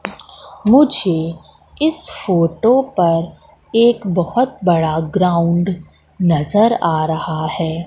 मुझे इस फोटो पर एक बहोत बड़ा ग्राउंड नजर आ रहा है।